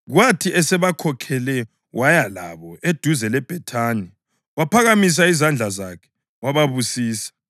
Kwathi esebakhokhele waya labo eduze leBhethani waphakamisa izandla zakhe wababusisa.